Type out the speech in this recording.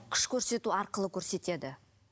күш көрсету арқылы көрсетеді